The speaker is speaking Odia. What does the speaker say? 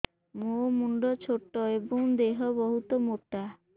ମୋ ମୁଣ୍ଡ ଛୋଟ ଏଵଂ ଦେହ ବହୁତ ମୋଟା